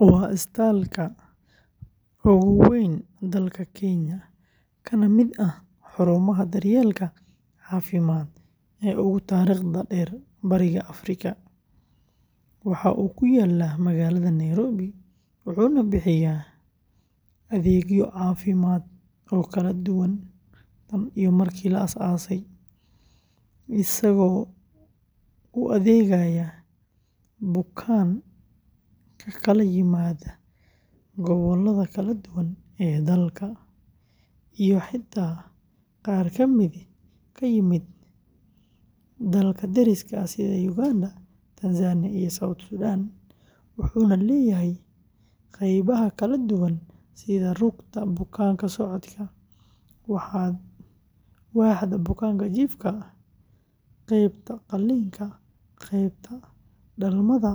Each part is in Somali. Waa isbitaalka ugu weyn dalka Kenya kana mid ah xarumaha daryeelka caafimaad ee ugu taariikhda dheer Bariga Afrika, waxa uu ku yaal magaalada Nairobi, wuxuuna bixiyay adeegyo caafimaad oo kala duwan tan iyo markii la aasaasay, isagoo u adeegaya bukaan ka kala yimaada gobollada kala duwan ee dalka iyo xitaa qaar ka mid ah dalalka deriska ah sida Uganda, Tanzania iyo South Sudan, wuxuuna leeyahay qaybaha kala duwan sida rugta bukaan-socodka, waaxda bukaan jiifka, qaybta qalliinka, qaybta dhalmada,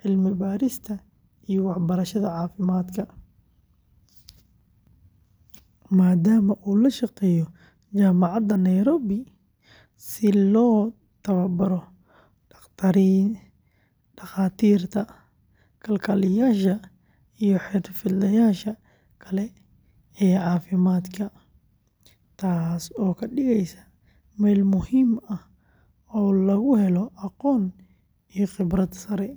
cilmi-baarista iyo waxbarashada caafimaadka, maadaama uu la shaqeeyo Jaamacadda Nairobi si loo tababaro dhakhaatiirta, kalkaaliyeyaasha iyo xirfadlayaasha kale ee caafimaadka, taas oo ka dhigaysa meel muhiim ah oo lagu helo aqoon iyo khibrad sare.